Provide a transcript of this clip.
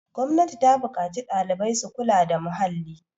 gwamnati ta buƙaci ɗalibai su kula da muhalli